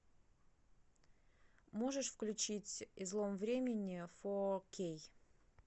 можешь включить излом времени фо кей